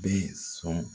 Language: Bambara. Bɛ sɔn